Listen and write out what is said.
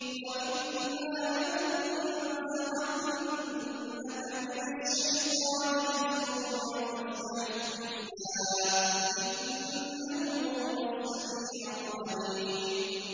وَإِمَّا يَنزَغَنَّكَ مِنَ الشَّيْطَانِ نَزْغٌ فَاسْتَعِذْ بِاللَّهِ ۖ إِنَّهُ هُوَ السَّمِيعُ الْعَلِيمُ